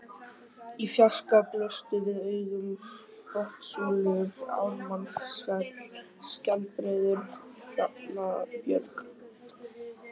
Í fjarska blöstu við augum Botnssúlur, Ármannsfell, Skjaldbreiður, Hrafnabjörg